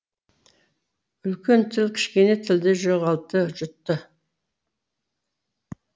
үлкен тіл кішкене тілді жоғалтты жұтты